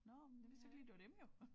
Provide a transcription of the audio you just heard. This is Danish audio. Nåh men jeg vidste ikke lige det var dem jo